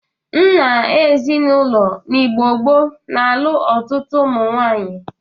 Nna ezinaụlọ n'Igbo gboo na-alụ ọtụtụ ụmụnwaanyị.